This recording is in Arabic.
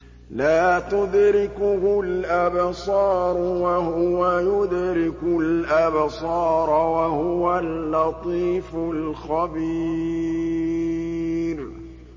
لَّا تُدْرِكُهُ الْأَبْصَارُ وَهُوَ يُدْرِكُ الْأَبْصَارَ ۖ وَهُوَ اللَّطِيفُ الْخَبِيرُ